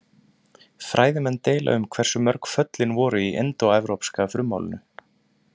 Fræðimenn deila um hversu mörg föllin voru í indóevrópska frummálinu.